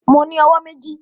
Mo ní owó méjì